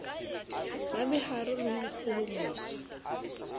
ba meharo le ho ikgohomosa